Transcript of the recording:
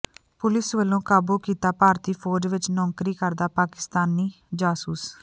police ਵਲੋ ਕਾਬੂ ਕੀਤਾ ਭਾਰਤੀ ਫੌਜ ਵਿੱਚ ਨੌਕਰੀ ਕਰਦਾ ਪਾਕਿਸਤਾਨੀ ਜਾਸੂਸ